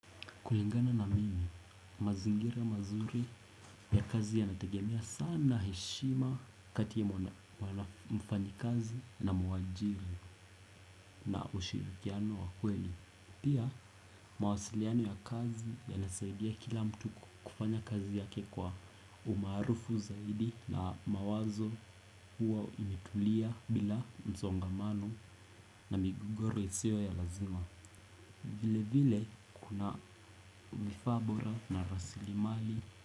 Kulingana na mimi, mazingira mazuri ya kazi yanatagemea sana heshima kati ya mfanyikazi na mwajiri na ushirikiano wa kweli. Pia, mawasiliano ya kazi yanasaidia kila mtu kufanya kazi yake kwa umaarufu zaidi na mawazo huwa imetulia bila msongamano na migogoro isiyo ya lazima. Vilevile kuna vifaa bora na rasilimali.